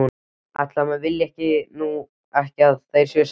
Ætli maður vilji nú ekki að þeir séu sætir.